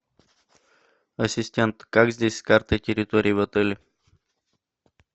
ассистент как здесь с картой территории в отеле